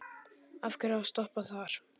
Af hverju að stoppa þar?